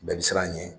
Bɛɛ bi siran a ɲɛ